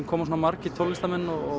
koma svo margir tónlistarmenn og